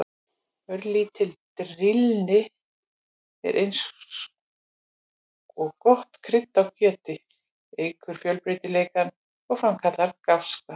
Örlítil drýldni er eins og gott krydd á kjöti, eykur fjölbreytileikann og framkallar gáska.